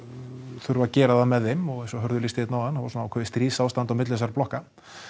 þurfa að gera það með þeim eins og Hörður lýsti hérna áðan þá var hálfgert stríðsástand á milli þessara blokka